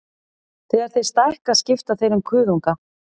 Þegar þeir stækka skipta þeir um kuðunga.